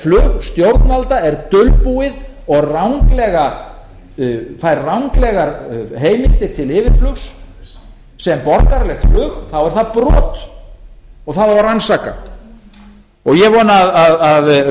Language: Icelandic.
flug stjórnvalda er dulbúið og fær ranglega heimildir til yfirflugs sem borgaralegt flug þá er það brot og það á að rannsaka ég vona að